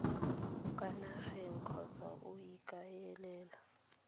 kwa nageng kgotsa o ikaelela